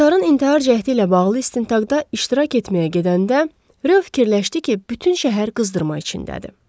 Kotarın intihar cəhdi ilə bağlı istintaqda iştirak etməyə gedəndə, Röv fikirləşdi ki, bütün şəhər qızdırma içindədir.